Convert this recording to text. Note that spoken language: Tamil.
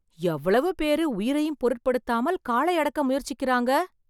எவ்வளவு பேர் உயிரையும் பொருட்படுத்தாமல் காளை அடக்க முயற்சிக்கிறாங்க.